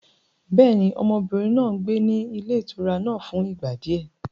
Bẹ́ẹ̀ni, ọmọbìnrin náà gbé ní ilé ìtura náà fún ìgbà di ẹ.